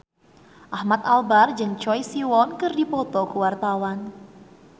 Ahmad Albar jeung Choi Siwon keur dipoto ku wartawan